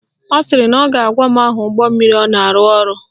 Ọ sịrị na ọ ga-agwa m aha ụgbọmmiri ọ na-arụ ọrụ